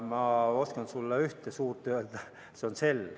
Ma oskan sulle öelda ühe suure, see on Estonian Cell ...